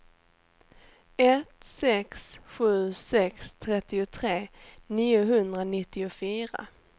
ett sex sju sex trettiotre niohundranittiofyra